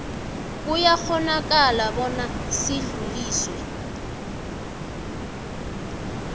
kuyakghonakala bona sidluliselwe